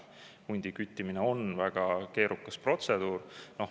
Hundi küttimine on väga keerukas protseduur.